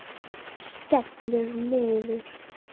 Skellur niður.